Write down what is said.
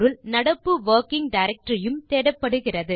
நடப்பு working directory உம் தேடப்படுகிறது